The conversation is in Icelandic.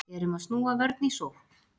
Erum að snúa vörn í sókn